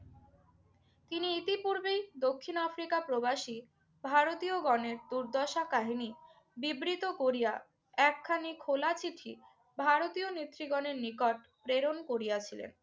তিনি ইতিপূর্বিই দক্ষিণ আফ্রিকা প্রবাসী ভারতীয়গণের দুর্দশার কাহিনি বিবৃত করিয়া একখানি খোলা চিঠি ভারতীয় নেতৃগণের নিকট প্রেরণ করিয়াছিলেন।